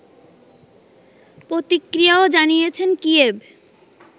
প্রতিক্রিয়াও জানিয়েছে কিয়েভ